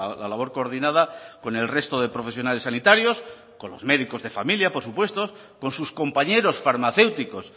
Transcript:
la labor coordinada con el resto de profesionales sanitarios con los médicos de familia por supuesto con sus compañeros farmacéuticos